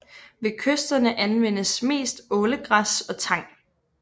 Ved kysterne anvendes mest ålegræs og tang